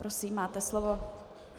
Prosím, máte slovo.